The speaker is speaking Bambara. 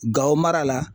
Gawo mara la